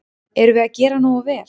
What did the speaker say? Erum við að gera nógu vel?